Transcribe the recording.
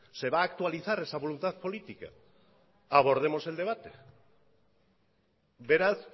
se va a actualizar esa voluntad política abordemos el debate beraz